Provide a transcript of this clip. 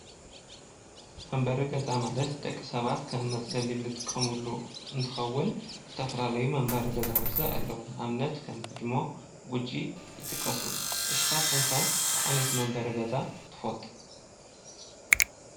መንበሪ ገዛ ማለት ደቂ ሰባት ከም መፅለሊ እንጥቀመሉ እንትኸውን ዝተፈላለዩ መንበሪ ገዛውቲ ኣለዉ። ንኣብነት ከም ህድሞ፣ ጉጂ ይጥቀሱ። ንስኻትኩም ከ እንታይ ዓይነት መንበሪ ገዛ ትፈልጡ?